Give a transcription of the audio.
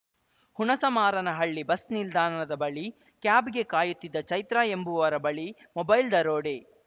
Hunasamaranahalli bus ನಿಲ್ದಾನದ ಬಳಿ ಕ್ಯಾಬ್‌ಗೆ ಕಾಯುತ್ತಿದ್ದ ಚೈತ್ರಾ ಎಂಬುವರ ಬಳಿ ಮೊಬೈಲ್‌ ದರೋಡೆ